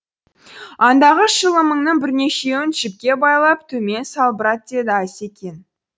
андағы шылымыңның бірнешеуін жіпке байлап төмен салбырат деді асекең